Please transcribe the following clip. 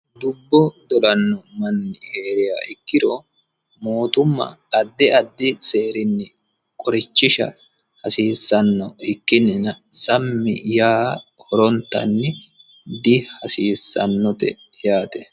dubbo dolanno manni heeriya ikkiro mootumma addi addi seerinni qorichisha hasiissanno ikkinnina sammi yaa horontanni dihasiissannote yaate